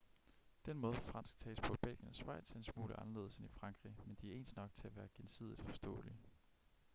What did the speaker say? den måde fransk tales på i belgien og schweiz er en smule anderledes end i frankrig men de er ens nok til at være gensidigt forståelige